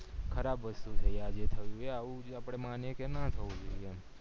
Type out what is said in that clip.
ખરાબ વસ્તુ છે આ જે થયું એ આવું જે આપડે મને કે નાં થવું જોઈએ એમ